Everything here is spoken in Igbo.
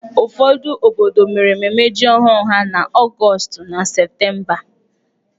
Ụfọdụ obodo mere ememme ji ọhụrụ ha n'Ọgọọst na Septemba.